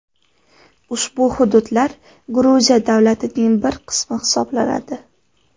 Ushbu hududlar Gruziya davlatining bir qismi hisoblanadi.